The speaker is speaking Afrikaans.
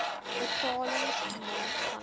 betalings gemaak vanaf